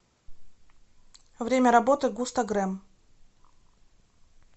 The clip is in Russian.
время работы густогрэм